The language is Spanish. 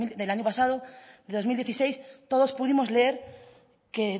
del año pasado de dos mil dieciséis todos pudimos leer que